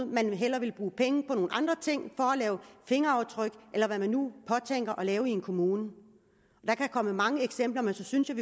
man vil hellere bruge penge på nogle andre ting for at lave fingeraftryk eller hvad man nu påtænker at lave i en kommune jeg kan komme med mange eksempler men så synes jeg